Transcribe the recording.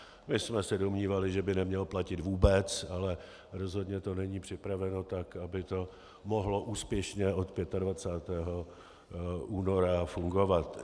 My jsme se domnívali, že by neměl platit vůbec, ale rozhodně to není připraveno tak, aby to mohlo úspěšně od 25. února fungovat.